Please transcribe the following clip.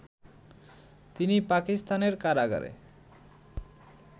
তিনি পাকিস্তানের কারাগারে